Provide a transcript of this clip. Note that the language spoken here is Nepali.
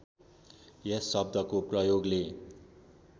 यस शब्दको प्रयोगले